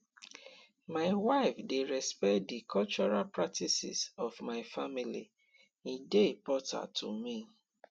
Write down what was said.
my wife dey respect di cultural practices of my family e dey important to me